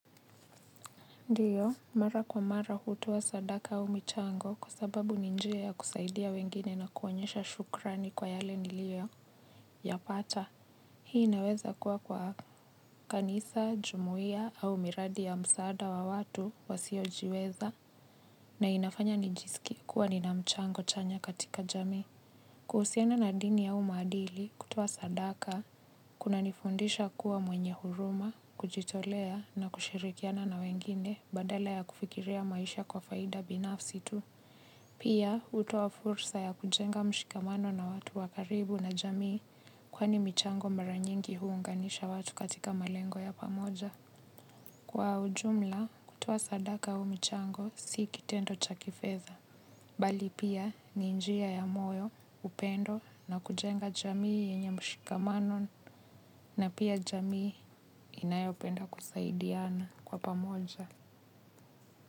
Ndiyo, mara kwa mara hutoa sadaka au michango kwa sababu ninjia ya kusaidia wengine na kuonyesha shukrani kwa yale niliyo ya pata. Hii inaweza kuwa kwa kanisa, jumuia au miradi ya msaada wa watu wasio jiweza na inafanya nijiskie kuwa nina mchango chanya katika jamii. Kuhusiana na dini au maadili kutoa sadaka kuna nifundisha kuwa mwenye huruma, kujitolea na kushirikiana na wengine badala ya kufikiria maisha kwa faida binafsi tu. Pia hutoa fursa ya kujenga mshikamano na watu wa karibu na jamii kwani michango mara nyingi huunganisha watu katika malengo ya pamoja. Kwa ujumla, kutoa sadaka au mchango si kitendo cha kifedha. Bali pia, ninjia ya moyo, upendo na kujenga jamii yenye mshikamano na pia jamii inayopenda kusaidiana kwa pamoja.